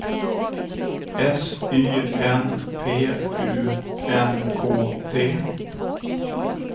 S Y N P U N K T